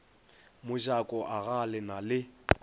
mojako agaa le na le